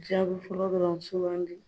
Jaa bɛ fɔlɔ dɔrɔn sugandi.